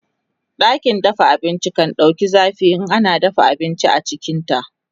ɗakin abinci kan ɗauku zafi in ana dafa abinci a cikinta